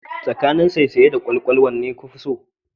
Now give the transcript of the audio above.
Tsakanin saisaye da kwalkwal wanne kafi so?